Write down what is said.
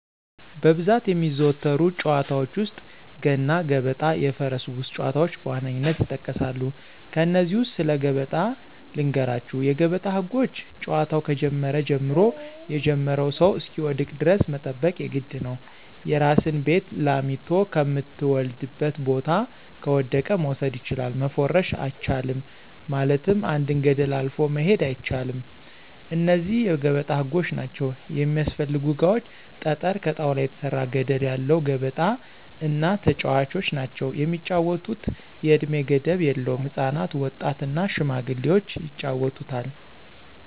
በብዛት የሚዘወተሩ ጨዋታዎች ውስጥ፦ ገና ገበጣ የፈረስ ጉጉስ ጨዋታዎች በዋነኝነት ይጠቀሳሉ። ከነዚህ ውስጥ ስለ ገበጣ ልንገራችሁ የገበጣ ህጎች ጨዋታው ከጀመረ ጀምሮ የጀመረው ሰው እሰሚወድቅ ደረስ መጠበቅ የግድ ነው፦ የራሲን ቤት ላሚቶ ከምተወልድበት ቦታ ከወደቀ መውሰድ ችላል፣ መፎረሽ አቻልም ማለትም አንድን ገደል አልፎ መሆድ አይቻል እነዚህ የገበጣ ህጎች ናቸው። የሚስፈልጉ እቃዎች ጠጠረ፣ ከጣውላ የተሰራ ገደለ ያለው ገበጣ እና ተጨዋቾች ናቸው። የሚጫወቱት የእድሜ ገደብ የለውም ህፃናት፣ ወጣት እና ሽማግሌዎች ይጫወቱታል።